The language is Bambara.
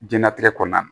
Diɲɛnatigɛ kɔnɔna na